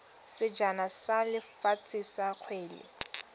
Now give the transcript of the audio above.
sejana sa lefatshe sa kgwele